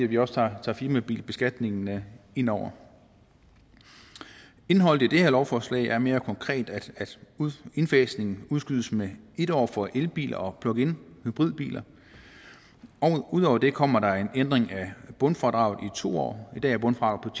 vi også tager firmabilbeskatningen med ind over indholdet i det her lovforslag er mere konkret altså at indfasningen udskydes med en år for elbiler og pluginhybridbiler ud over det kommer der en ændring af bundfradraget i to år i dag er bundfradraget